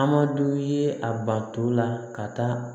Amadu ye a banto la ka taa